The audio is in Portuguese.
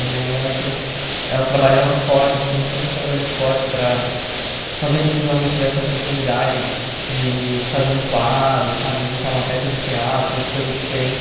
E minha mãe, ela tinha ela trabalhava forte assim, sempre trabalhou forte para fazer com que os alunos tivessem a oportunidade de fazer um quadro sabe, montar uma peça de teatro, uma coisa diferente.